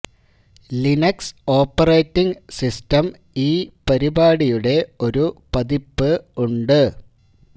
Linux operating system ഈ പരിപാടിയുടെ ഒരു പതിപ്പ് ഉണ്ട്